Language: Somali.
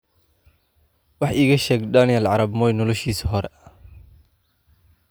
wax iiga sheeg daniel arap moi noloshiisii ​​hore